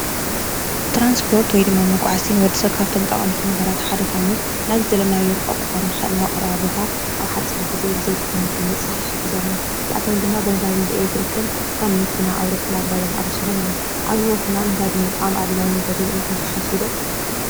ትራንስፖርት ወይ ድማ መጓዓዓዝቲ ንወድሰብ ካብቶም ጠቐምቲ ነገራት ሓደ ኮይኑ ናብ ዝደለናዮ ርሑቕ ክኾን ይኽእል ናብ ቀረባ ቦታ ኣብ ብሓፂር ጊዜ ብዘይድኻም ንኽንበፅሕ ይሕግዘና፡፡ እዚኣቶም ድማ ብነዳድን ብኤሌክትሪክን ከም መኪና፣ ኣውሮፕላን፣ ባጃጅ ዝኣምሰሉ እዮም፡፡ ኣብ ህይወትና ነዳዲ ምጥቃም ኣድላዪ ነገር እዩ ኢልኩም ትሓስቡ ዶ?